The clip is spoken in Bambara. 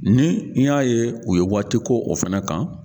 Ni n y'a ye u ye waatiko o fana kan